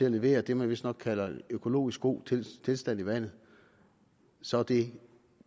at levere det man vistnok kalder økologisk god tilstand i vandet og så er det